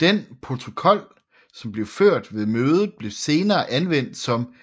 Den protokol som blev ført ved mødet blev senere anvendt som